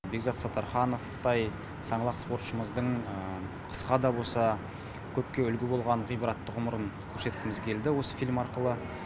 бекзат саттархановтай саңлақ спортшымыздың қысқа да болса көпке үлгі болған ғибратты ғұмырын көрсеткіміз келді осы фильм арқылы